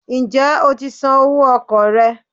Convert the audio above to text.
Ǹjẹ́ o ti san owó okò rẹ̀